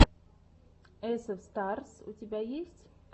эсэф старс у тебя есть